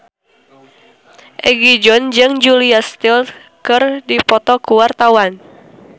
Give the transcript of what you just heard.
Egi John jeung Julia Stiles keur dipoto ku wartawan